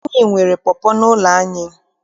Anyị nwere pọpọ n'ụlọ anyị.